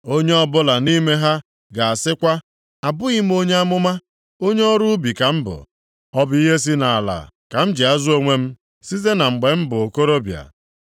Onye ọbụla nʼime ha ga-asịkwa, ‘Abụghị m onye amụma, onye ọrụ ubi ka m bụ, ọ bụ ihe si nʼala ka m ji azụ onwe m site na mgbe m bụ okorobịa.’